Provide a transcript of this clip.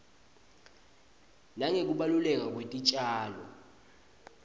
nangekubaluleka kwetitjalo